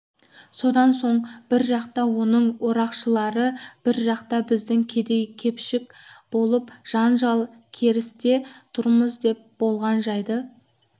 содан соң бір жақта оның орақшылары бір жақта біздің кедей-кепшік болып жанжал-керісте тұрмыз деп болған жайды